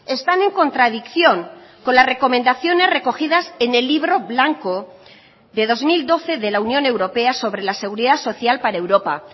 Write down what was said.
están en contradicción con las recomendaciones recogidas en el libro blanco de dos mil doce de la unión europea sobre la seguridad social para europa